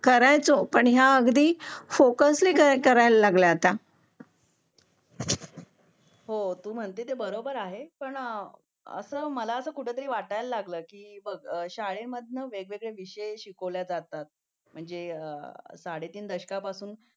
हो तू म्हणते ते बरोबर आहे पण मला कुठेतरी वाटायला लागलं की बघ शाळेत वेगवेगळे विषय शिकवले जातात म्हणजे साडेतीन दशकापासून